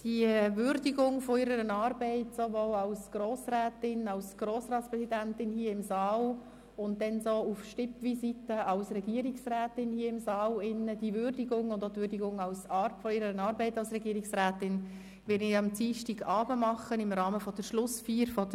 Die Würdigung ihrer Arbeit sowohl als Grossrätin und Grossratspräsidentin hier im Saal und dann auch auf Stippvisiten als Regierungsrätin sowie die Würdigung der Art ihrer Arbeit als Regierungsrätin werde ich am Dienstagabend im Rahmen der Legislaturschlussfeier machen.